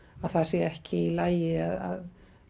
að það sé ekki í lagi að